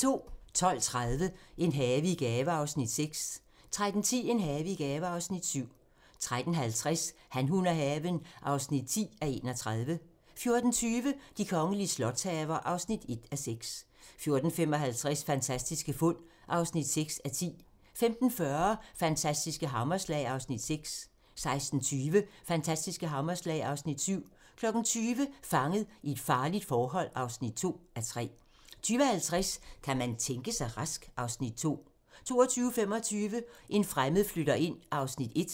12:30: En have i gave (Afs. 6) 13:10: En have i gave (Afs. 7) 13:50: Han, hun og haven (10:31) 14:20: De kongelige slotshaver (1:6) 14:55: Fantastiske fund (6:10) 15:40: Fantastiske hammerslag (Afs. 6) 16:20: Fantastiske hammerslag (Afs. 7) 20:00: Fanget i et farligt forhold (2:3) 20:50: Kan man tænke sig rask? (Afs. 2) 22:25: En fremmed flytter ind (1:4)